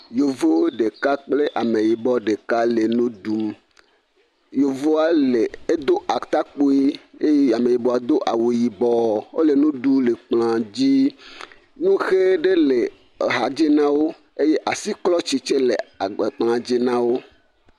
Yevu ɖeka kple ameyibɔ ɖeka le nu ɖum. Yevua le edo atakpui eye ameyibɔa do awu yibɔ. Wo le nu ɖum le kplɔa dzi. Woxe ɖe le axadzi na wo eye asiklɔtsi tse le agba kplɔ dzi na wo.